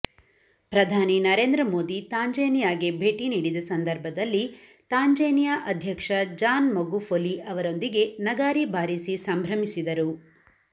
ಪ್ರಧಾನಿ ನರೇಂದ್ರ ಮೋದಿ ತಾಂಜೇನಿಯಾಗೆ ಭೇಟಿ ನೀಡಿದ ಸಂದರ್ಭದಲ್ಲಿ ತಾಂಜೇನಿಯಾ ಅಧ್ಯಕ್ಷ ಜಾನ್ ಮಗುಫೊಲಿ ಅವರೊಂದಿಗೆ ನಗಾರಿ ಬಾರಿಸಿ ಸಂಭ್ರಮಿಸಿದರು